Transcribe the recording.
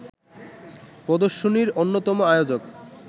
প্রদর্শনীর অন্যতম আয়োজক